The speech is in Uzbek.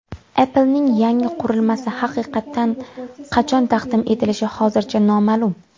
Apple’ning yangi qurilmasi haqiqatan qachon taqdim etilishi hozircha noma’lum.